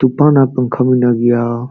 ᱛᱩᱯᱷᱟᱱ ᱟᱡ ᱯᱟᱱᱠᱷᱟ ᱢᱮᱱᱟᱜ ᱜᱤᱭᱟ᱾